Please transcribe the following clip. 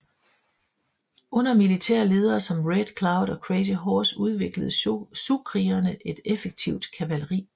Under militære ledere som Red Cloud og Crazy Horse udviklede siouxkrigerne et effektivt kavaleri